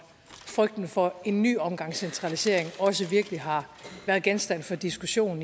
frygten for en ny omgang centralisering også virkelig har været genstand for diskussion